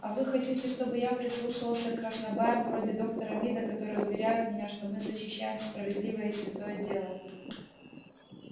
а вы хотите чтобы я прислушивался к краснобаям вроде доктора мида которые уверяют меня что мы защищаем справедливое и святое дело